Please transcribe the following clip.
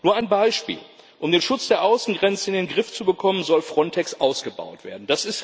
Nur ein Beispiel Um den Schutz der Außengrenzen in den Griff zu bekommen, soll Frontex ausgebaut werden.